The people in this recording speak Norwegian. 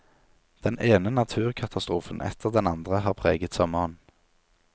Den ene naturkatastrofen etter den andre har preget sommeren.